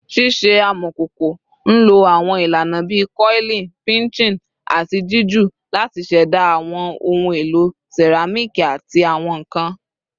Ṣiṣe amọkoko nlo awọn ilana bii coiling, pinching, ati jiju lati ṣẹda awọn ohun elo seramiki ati awọn nkan